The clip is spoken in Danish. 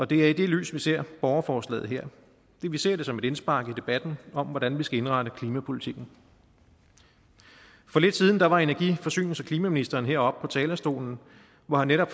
det er i det lys vi ser borgerforslaget her vi ser det som et indspark i debatten om hvordan vi skal indrette klimapolitikken for lidt siden var var energi forsynings og klimaministeren heroppe på talerstolen hvor han netop